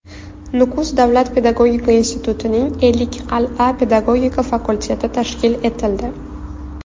Nukus davlat pedagogika institutining Ellikqal’a pedagogika fakulteti tashkil etildi.